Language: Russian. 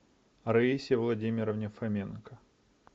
раисе владимировне фоменко